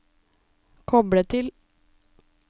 koble til